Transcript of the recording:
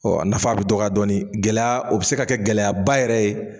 Ɔ a nafa a bɛ dɔgɔya dɔɔni gɛlɛya o be se ka kɛ gɛlɛya ba yɛrɛ ye